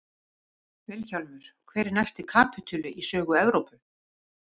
VILHJÁLMUR: Hver er næsti kapítuli í sögu Evrópu?